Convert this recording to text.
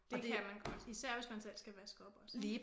Det kan man godt. Især hvis man selv skal vaske op også